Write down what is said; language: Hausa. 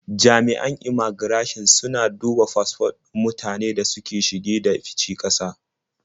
Jami'an immaigirashin suna duba fasfon mutanen da suke shige da fice ƙasa.